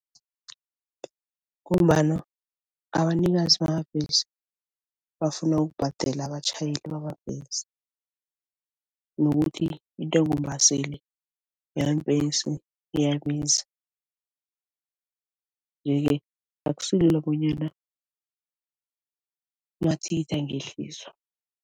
Ngombana abanikazi bamabhesi bafuna ukubhadela abatjhayeli bamabhesi nokuthi intengombaseli yeembhesi iyabiza, yeke akusilula bonyana amathikithi angehliswa.